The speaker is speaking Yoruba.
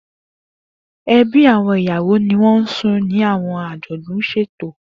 Ebi awọn iyawo ni won sùn ni awọn ajodun ṣeto.